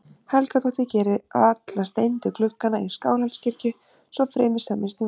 Helgadóttir geri alla steindu gluggana í Skálholtskirkju- svo fremi semjist um verðið.